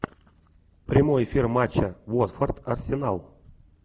прямой эфир матча уотфорд арсенал